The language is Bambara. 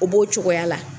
O b'o cogoya la